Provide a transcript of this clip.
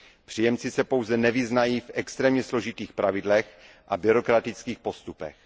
Příjemci se pouze nevyznají v extrémně složitých pravidlech a byrokratických postupech.